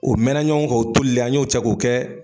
0 mɛna ɲɔgɔn kan o tolilen an y'o cɛ k'o kɛ